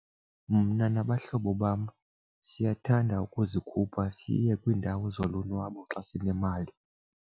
Mna nabahlobo bam siyathanda ukuzikhupha siye kwiindawo zolonwabo xa sinemali.